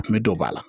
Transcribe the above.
A kun bɛ don ba la